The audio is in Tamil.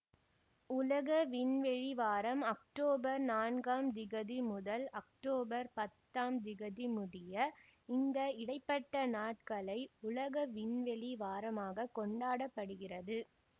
உலக விண்வெளி வாரம் அக்டோபர் நான்காம் திகதி முதல் அக்தோபர் பத்தாம் திகதி முடிய இந்த இடை பட்ட நாட்களை உலக விண்வெளி வாரமாக கொண்டாட படுகிறது